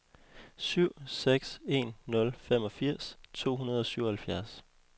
syv seks en nul femogfirs to hundrede og syvoghalvfjerds